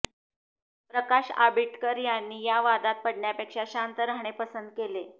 प्रकाश आबिटकर यांनी या वादात पडण्यापेक्षा शांत राहणे पसंत केले